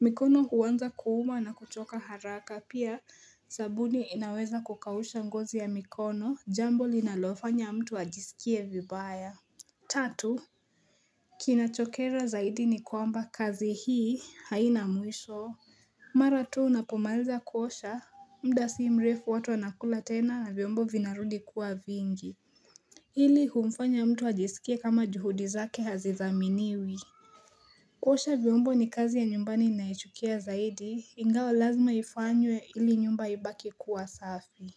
Mikono huanza kuuma na kuchoka haraka pia sabuni inaweza kukausha ngozi ya mikono jambo linalofanya mtu ajisikie vibaya Tatu, kinachokera zaidi ni kwamba kazi hii haina mwisho Mara tu unapomaliza kuosha muda si mrefu watu wanakula tena na vyombo vinarudi kuwa vingi Hili humfanya mtu ajisikie kama juhudi zake hazidhaminiwi kuosha vyombo ni kazi ya nyumbani naichukia zaidi ingawa lazima ifanywe ili nyumba ibaki kuwa safi.